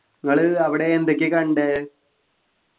നിങ്ങൾ അവിടെ എന്തൊക്കെയാ കണ്ടേ